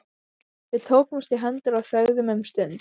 Við tókumst í hendur og þögðum um stund.